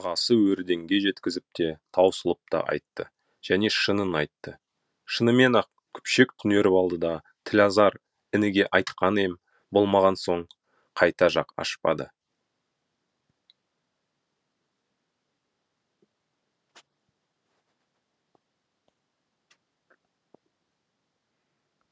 ағасы өрденге жеткізіп те таусылып та айтты және шынын айтты шынымен ақ күпшек түнеріп алды да тілазар ініге айтқаны ем болмаған соң қайта жақ ашпады